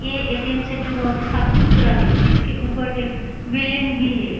ये ATM centre बहोत ही साफ सुथरा है। इसके उपर एक बिल्डिंग भी है।